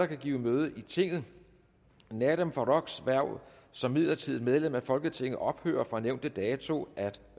kan give møde i tinget nadeem farooqs hverv som midlertidigt medlem af folketinget ophører fra nævnte dato at